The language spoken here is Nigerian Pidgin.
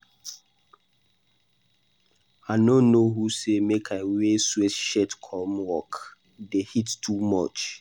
I no know who say make I wear sweatshirt come work. The heat too much